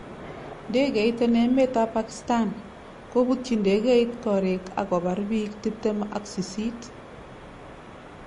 Ngegeit en emet ab Pakistan: Koputyi ndegeit korik ak kobar biik tiptem ak sisit